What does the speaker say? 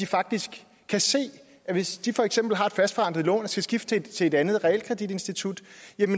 faktisk se at hvis de for eksempel har et fastforrentet lån og skal skifte til et andet realkreditinstitut